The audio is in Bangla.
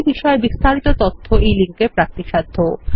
এই বিষয় বিস্তারিত তথ্য এই লিঙ্ক এ প্রাপ্তিসাধ্য